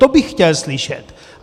To bych chtěl slyšet.